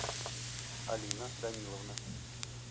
алина даниловна